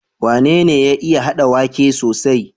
Wane ya iya hada waƙe sosai?